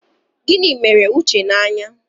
Gịnị mere Uche n'anya?